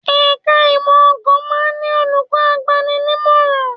Ẹ̀ka ìmọ̀ ̀ọ̀kan máa ń ní olùkọ́ agbani-nímọ̀ràn